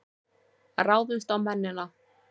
Ráðumst á mennina!